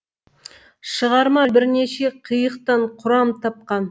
шығарма бірнеше қиықтан құрам тапқан